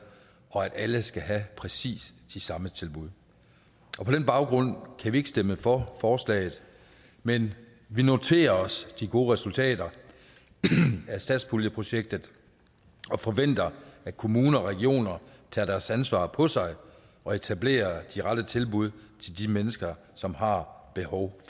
og at alle skal have præcis de samme tilbud på den baggrund kan vi ikke stemme for forslaget men vi noterer os de gode resultater af satspuljeprojektet og forventer at kommuner og regioner tager deres ansvar på sig og etablerer de rette tilbud til de mennesker som har behov